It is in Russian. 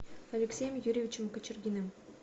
алексеем юрьевичем кочергиным